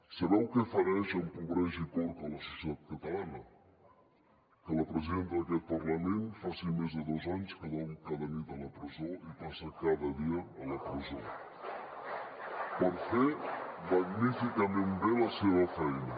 sabeu què fereix empobreix i corca la societat catalana que la presidenta d’aquest parlament faci més de dos anys que dorm cada nit a la presó i passa cada dia a la presó per fer magníficament bé la seva feina